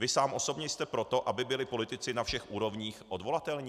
Vy sám osobně jste pro to, aby byli politici na všech úrovních odvolatelní?